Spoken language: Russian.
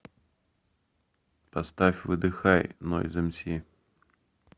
поставь выдыхай нойз эмси